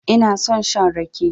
Ina son shan rake.